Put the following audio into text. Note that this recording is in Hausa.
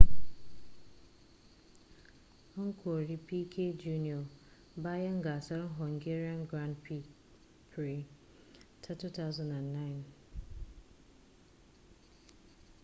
an kori piquet jr bayan gasar hungarian grand prix ta 2009